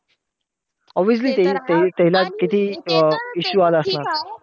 Obvioously ते ते अं त्याला किती issue आला असणार.